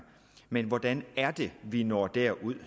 men hvordan er det vi når derud